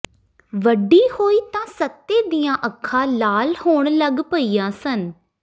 ਵੱਡੀ ਹੋਈ ਤਾਂ ਸੱਤੇ ਦੀਆਂ ਅੱਖਾਂ ਲਾਲ ਹੋਣ ਲੱਗ ਪਈਆਂ ਸਨ